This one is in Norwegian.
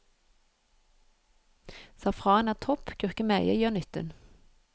Safran er topp, gurkemeie gjør nytten.